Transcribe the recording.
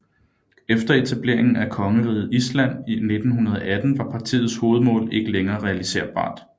Efter etableringen af Kongeriget Island i 1918 var partiets hovedmål ikke længere realiserbart